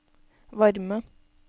varme